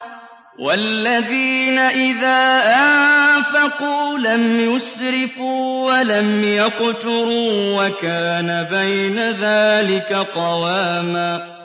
وَالَّذِينَ إِذَا أَنفَقُوا لَمْ يُسْرِفُوا وَلَمْ يَقْتُرُوا وَكَانَ بَيْنَ ذَٰلِكَ قَوَامًا